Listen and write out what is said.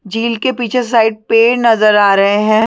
झील के पिछे साइड पे नज़र आ रहै है।